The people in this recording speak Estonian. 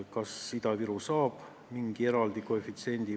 Kas Ida-Viru saab mingi eraldi koefitsiendi?